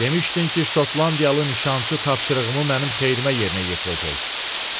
Demışdin ki, Şotlandiyalı nişançı tapşırığımı mənim xeyrimə yerinə yetirəcək.